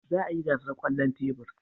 Za a yi gasar kwallon tebur.